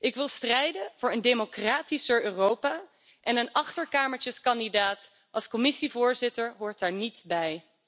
Ik wil strijden voor een democratischer Europa, en een achterkamertjeskandidaat als Commissievoorzitter hoort daar niet bij.